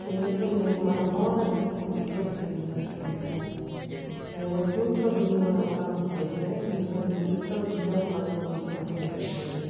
kendo ochung' ne gimoro amora tete te mantiere e pinywa mar Kenya kae eyore duto gi gimoro amora matimre gi yore duto gi jok maluwo gikmatimre e pinywa.